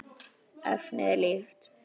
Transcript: Efnið er líkt.